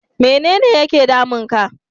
Mene ne yake damun ka?